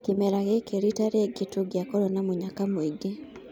Kĩmera gĩkĩ rita rĩngĩ tũngiakorwo na mũnyaka mũingĩ."